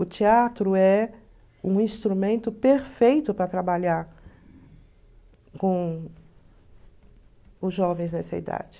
O teatro é um instrumento perfeito para trabalhar com os jovens nessa idade.